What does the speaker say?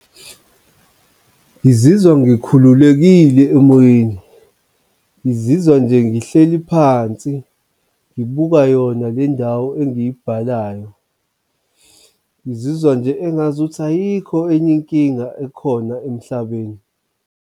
Ngizizwa ngikhululekile emoyeni, ngizizwa nje ngihleli phansi ngibuka yona le ndawo engiyibhalayo, ngizizwa nje engazuthi ayikho enye inkinga ekhona emhlabeni.